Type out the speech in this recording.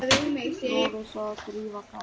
Lovísa og Drífa Katrín.